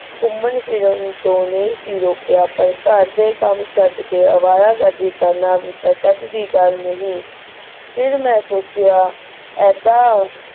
ਘੁੰਮਣ ਫਿਰਨ ਤੋਂ ਨਹੀ ਸੀ ਰੋਕਿਆ ਪਰ ਘਰ ਦੇ ਕੰਮ ਛੱਡਕੇ ਅਵਾਰਾ ਗਰਦੀ ਕਰਨਾ ਵੀ ਤਾਂ ਝੱਜ ਦੀ ਗੱਲ ਨਹੀਂ। ਫਿਰ ਮੈਂ ਸੋਚਿਆ ਇੱਦਾਂ,